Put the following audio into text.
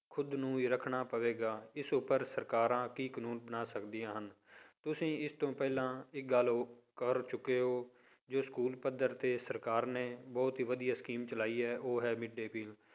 ਖੁੱਦ ਨੂੰ ਹੀ ਰੱਖਣਾ ਪਵੇਗਾ, ਇਸ ਉੱਪਰ ਸਰਕਾਰਾਂ ਕਿ ਕਾਨੂੰਨ ਬਣਾ ਸਕਦੀਆਂ ਹਨ ਤੁਸੀਂ ਇਸ ਤੋਂ ਪਹਿਲਾਂ ਇੱਕ ਗੱਲ ਕਰ ਚੁੱਕੇ ਹੋ, ਜੋ ਸਕੂਲ ਪੱਧਰ ਤੇ ਸਰਕਾਰ ਨੇ ਬਹੁਤ ਹੀ ਵਧੀਆ scheme ਚਲਾਈ ਹੈ ਉਹ ਹੈ mid day meal